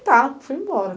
E tá, fui embora.